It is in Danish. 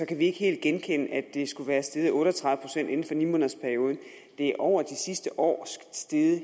kan ikke helt genkende at det skulle være steget otte og tredive procent inden for ni måneders perioden det er over det sidste år steget